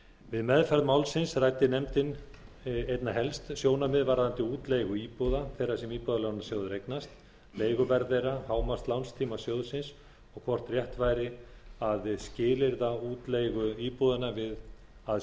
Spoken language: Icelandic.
við meðferð málsins ræddi nefndin einna helst sjónarmið varðandi útleigu íbúða þeirra sem íbúðalánasjóður eignast leiguverð þeirra hámarkslánstíma sjóðsins og hvort rétt væri að skilyrða útleigu íbúðanna við að